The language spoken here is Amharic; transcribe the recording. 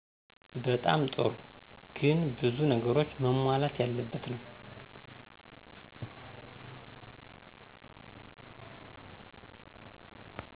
በጣም ጥሩ ግን ብዙ ነገሮች መሟላት ያለበት ነው።